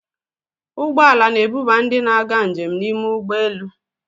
Ụgbọ ala na-ebuba ndị na-aga njem n'ime ụgbọ elu.